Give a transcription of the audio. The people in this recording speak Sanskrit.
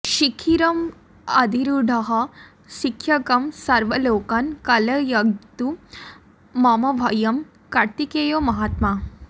शिखिवरमधिरूढः शिक्षयन् सर्वलोकान् कलयतु मम भव्यं कार्तिकेयो महात्मा